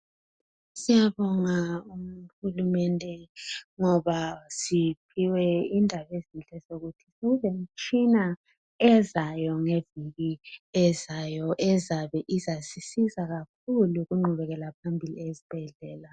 Siyabonga uhulumende ngoba siphiwe indaba ezinhle ukuthi kulemitshina ezayo kuviki ezayo ezabe izasisiza kakhulu kungqubekela phambili yesibhedlela.